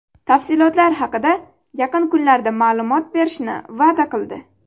Tafsilotlar haqida yaqin kunlarda ma’lumot berishni va’da qildi.